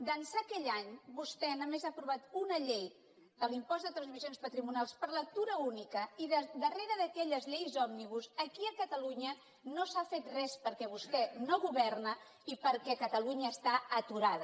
d’ençà aquell any vostè només ha aprovat una llei de l’impost de transmissions patrimonials per lectura única i darrere d’aquelles lleis òmnibus aquí a catalunya no s’ha fet res perquè vostè no governa i perquè catalunya està aturada